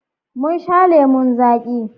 Mun sha lemon zaƙi.